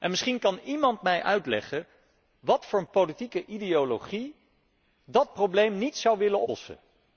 En misschien kan iemand mij uitleggen wat voor een politieke ideologie dat probleem niet zou willen oplossen?